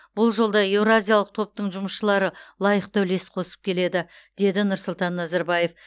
бұл жолда еуразиялық топтың жұмысшылары лайықты үлес қосып келеді деді нұрсұлтан назарбаев